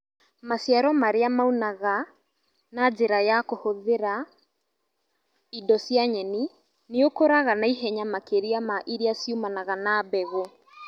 Maciaro marĩa maunaga na njĩra ya kũhĩthĩra indo cia nyeni nĩikũraga naihenya makĩria ma iria ciumanag na mbegũ